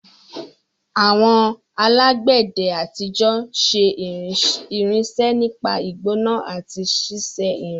Àwọn alágbẹ̀dẹ àtijọ́ ṣe irinṣẹ́ nípa ìgbóná àti ṣíṣe irin.